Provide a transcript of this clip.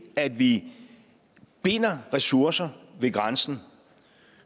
at vi binder ressourcer ved grænsen